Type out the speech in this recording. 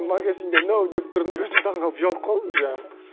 магазинда ноу деп тұрдым да өзім таңғалып ұялып қалдым жаңағы